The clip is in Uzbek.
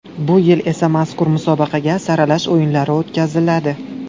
Bu yil esa mazkur musobaqaga saralash o‘yinlari o‘tkaziladi.